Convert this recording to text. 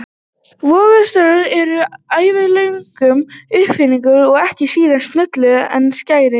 Vogarstangir eru ævagömul uppfinning og ekki síður snjöll en skærin.